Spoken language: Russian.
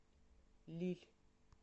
лилль